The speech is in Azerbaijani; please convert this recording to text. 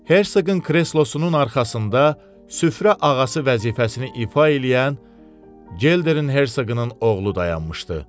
Herseqin kreslosunun arxasında süfrə ağası vəzifəsini ifa eləyən Gelderin Herseqinin oğlu dayanmışdı.